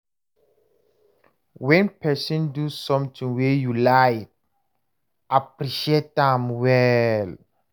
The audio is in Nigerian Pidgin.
When person do something wey you like, appreciate am well